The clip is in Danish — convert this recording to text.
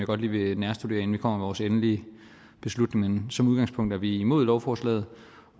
godt lige vil nærstudere inden vi kommer med vores endelige beslutning men som udgangspunkt er vi imod lovforslaget